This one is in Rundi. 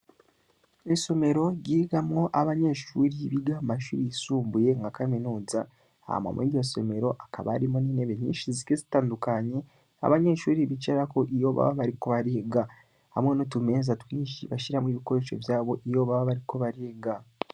Isomero, ryigamwo abanyeshuri biga mu mashuri yisumbuye, nka kaminuza, hama mw'iryo somero, hakaba harimwo n'intebe nyinshi zigiye zitandukanye, abanyeshuri bicarako, iyo baba bariko bariga; hamwe n'utumeza twinshi, bashiramwo ibikoresho vyabo, iyo baba bariko bariga.